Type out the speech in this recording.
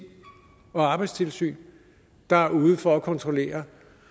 og arbejdstilsynet der er ude for at kontrollere